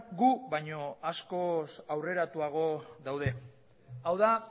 gu baino askoz aurreratuago daude hau da